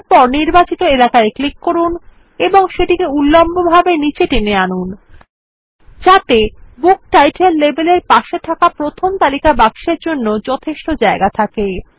এরপর নির্বাচিত এলাকায় ক্লিক করুন এবং সেটিকে উল্লম্বভাবে নিচে টেনে আনুন যাতে বুক টাইটেল লেবেল এর পাশে থাকা প্রথম তালিকা বাক্সের জন্য যথেষ্ট জায়গা থাকে